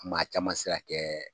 Maa caman sirakɛ